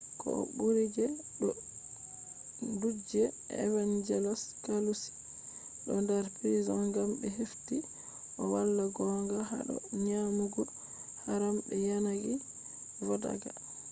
koh buri je do judge evangelos kalousis do dar prison gam be hefti o wala gonga hado nyamugo haram be yanayi vodaka